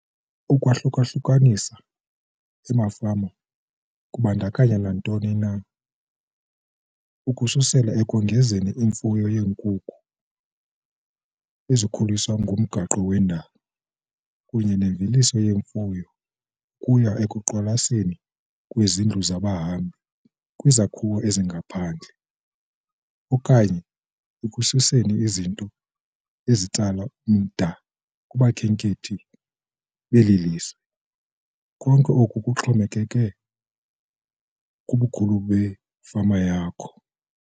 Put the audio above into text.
Ukwahluka-hlukanisa efama kubandakanya nantoni na, ukususela ekongezeni imfuyo yeenkukhu ezikhuliswa ngomgaqo wendalo kunye nemveliso yemfuyo ukuya ekuqalisweni kwezindlu zabahambi kwizakhiwo ezingaphandle okanye ekusekeni izinto ezitsala umda kubakhenkethi beli lizwe. Konke oku kuxhomekeka kubukhulu befama yakho.